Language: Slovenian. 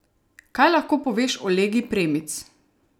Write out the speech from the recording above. Kaj lahko poveš o legi premic?